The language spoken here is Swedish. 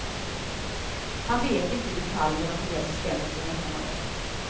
Han vet inte i detalj vad de nya bestämmelserna innehåller.